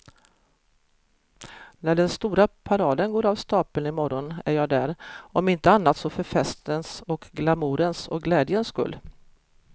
När den stora paraden går av stapeln i morgon är jag där, om inte annat så för festens och glamourens och glädjens skull.